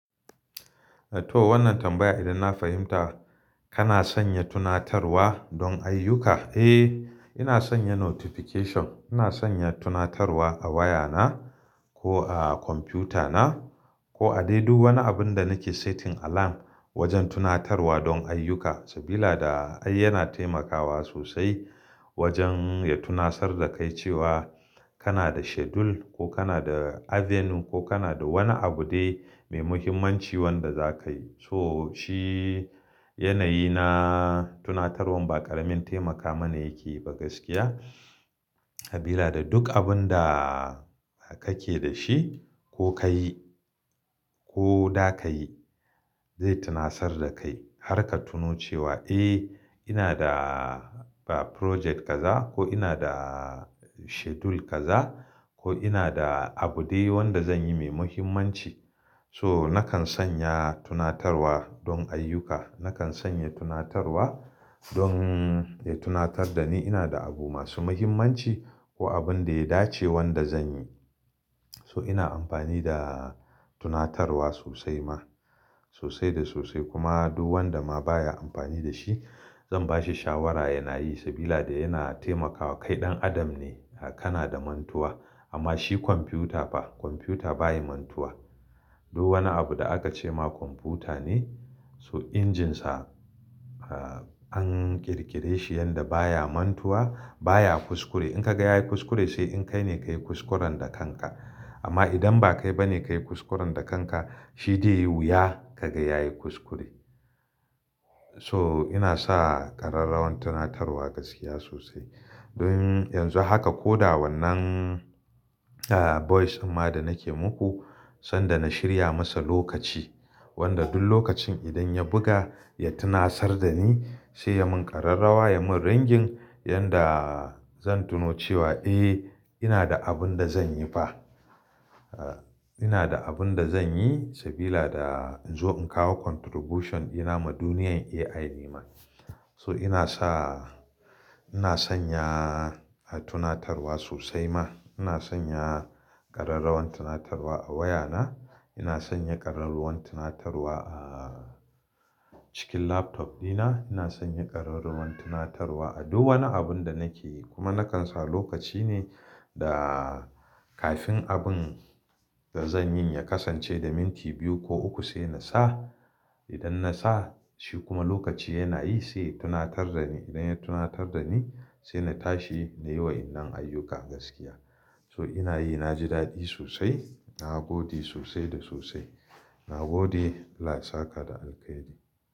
To wannan tambaya idan na fahimta kana son ya tunatarwa don ayyuka. Eh ina sanya notification, ina sanya tunatarwa a wayana ko a kwamfuta na ko a dai duk wani abun da nake setin alarm wajen tunatarwa don ayyuka. Sabida ai yana taimakawa sosai wajen ya tunasar da kai cewa kana da schedule ko kana da avenue ko kana da wani abu dai mai muhimmanci wanda zakayi. So shi yanayi na tunatarwan ba ƙaramin taimaka mana yake ba gaskiya. Sabida duk abun da kake da shi ko kayi ko za ka yi zai tunasar da kai har ka tuno cewa, eh ina da ba project gaza ko ina da schedule gaza ko ina da abu dai wanda zanyi mai muhimmanci. So nakan sanya tunatarwa don ayyuka, nakan sanya tunatarwa don ya tunatar da ni ina da abu masu muhimmanci ko abun da ya dace wanda zanyi. So ina amfani da tunatarwa sosai ma sosai da sosai kuma duk wanda ma baya amfani da shi zan bashi shawara yana yi. Sabida yana taimakawa kai ɗan adam ne kana da mantuwa amma shi kwamfuta ba, kwamfuta baya mantuwa. Duk wani abu da aka ce ma kwamfuta ne so injinsa an ƙirƙire shi yanda baya mantuwa, baya kuskure. In ka ga yayi kuskure sai in kai ne ka yi kuskuren da kanka. Amma idan ba kai ba ne ka yi kuskuren da kanka shi dai wuya ka ga yayi kuskure. So ina sa kararrawar tunatarwa gaskiya sosai. Don yanzu haka ko da wannan a voice amma da nake muku sanda na shirya masa lokaci wanda duk lokacin idan ya buga ya tunasar da ni sai ya mun kararrawa ya mun ringing yanda zan tuno cewa, eh ina da abun da zanyi ba. Ina da abun da zanyi sabida in zo in kawo contribution dina ma duniyar AI ne ma. So ina sa, ina sanya a tunatarwa sosai ma. Ina sanya kararrawar tunatarwa a wayana, ina sanya kararrawar tunatarwa a cikin laptop dina, ina sanya kararrawar tunatarwa a duk wani abun da nake yi. Kuma nakan sa lokaci ne da kafin abun da zanyi ya kasance da minti biyu ko uku sai na sa. Idan na sa shi kuma lokaci yana yi sai ya tunatar da ni. Idan ya tunatar da ni sai na tashi nayi wa'inan ayyuka gaskiya. So ina yi na ji daɗi sosai. Na gode sosai da sosai. Na gode Allah ya saka da alheri.